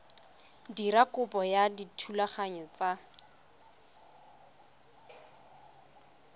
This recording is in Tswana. dira kopo ya thulaganyo ya